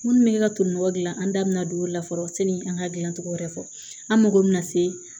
Minnu bɛ ne ka tubabu nɔgɔ gilan an da bɛna don o la fɔlɔ sani an ka gilancogo wɛrɛ fɔ an mago bɛ na se